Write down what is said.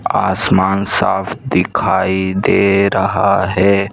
आसमान साफ दिखाई दे रहा है।